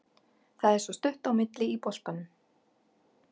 Það er svo stutt á milli í boltanum.